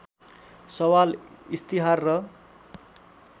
सवाल इस्तिहार र